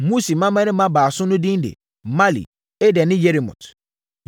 Musi mmammarima baasa no din de: Mahli, Eder ne Yeremot.